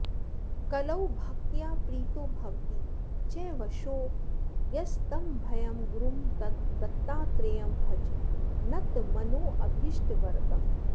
कलौ भक्त्या प्रीतो भवति च वशो यस्तमभयं गुरुं दत्तात्रेयं भज नतमनोऽभीष्टवरदम्